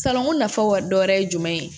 Salonko nafa dɔ wɛrɛ ye jumɛn ye